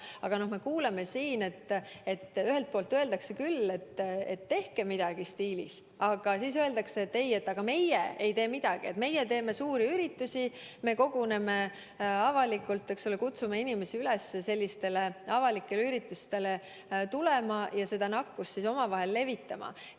Aga me kuuleme siin, et ühelt poolt öeldakse küll, et tehke ometi midagi, aga samas öeldakse, et meie ei piira midagi, meie teeme suuri üritusi, me koguneme avalikult, kutsume inimesi üles avalikele üritustele tulema ja nakkust omavahel levitama.